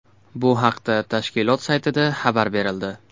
Bu haqda tashkilot saytida xabar berildi .